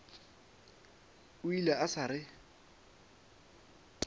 o ile a sa re